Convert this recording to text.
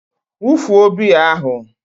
wufuo biya ahụ!